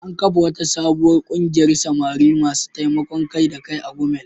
An kafa wata sabuwar kungiyar samari masu taimakon kai-da-kai a Gumel.